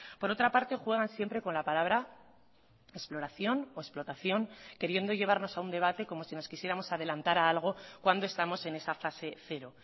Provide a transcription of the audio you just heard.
por otra parte juegan siempre con la palabra exploración o explotación queriendo llevarnos a un debate como si nos quisiéramos adelantar a algo cuando estamos en esa fase cero